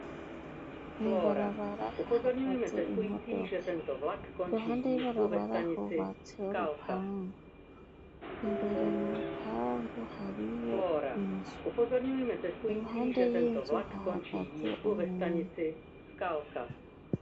Ibarabara hahagaze imodoka iruhande y'ibarabara hubatse urupangu imbere mu rupangu hariyo inzu iruhande y'inzu hahagaze .